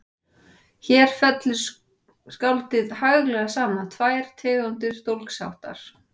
Hér fellir skáldið haglega saman tvær tegundir dólgsháttar